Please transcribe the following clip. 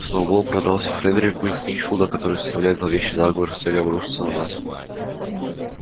сноуболл продался фредерику из пинчфилда который составляет зловещий заговор с целью обрушиться на нас